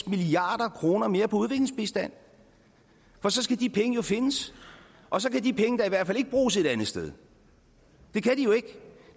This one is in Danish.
milliard kroner mere på udviklingsbistand for så skal de penge jo findes og så kan de penge da i hvert fald ikke bruges et andet sted det kan de jo ikke